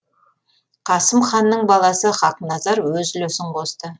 қасым ханның баласы хақназар өз үлесін қосты